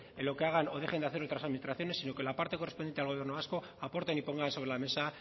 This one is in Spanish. en lo que hagan o dejen de hacer otras administraciones sino que la parte correspondiente al gobierno vasco aporten y pongan sobre la mesa